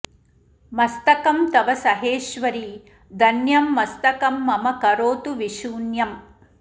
मस्तकं तव सहेश्वरि धन्यं मस्तकं मम करोतु विशून्यम्